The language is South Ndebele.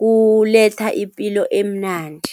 kuletha ipilo emnandi.